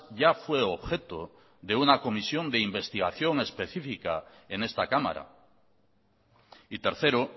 ya fue objeto de una comisión de investigación específica en esta cámara y tercero